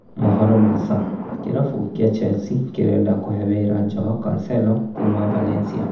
(Mohoro ma Sun) kĩrabu kĩa Chelsea kĩrenda kũhe wĩra Joao Cancelo kuuma Valencia